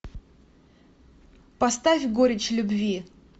поставь горечь любви